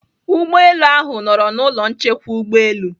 Ụgbọelu ahụ nọrọ na ụlọ nchekwa ụgbọelu.